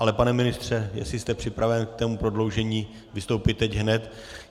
Ale pane ministře, jestli jste připraven k tomu prodloužení vystoupit teď hned...